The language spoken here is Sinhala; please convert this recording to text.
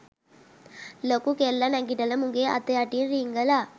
ලොකු කෙල්ල නැඟිටල මුගේ අත යටින් රිංගල